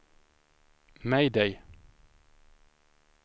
mayday